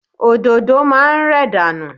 Òdòdó máa ń rẹ̀ dànù.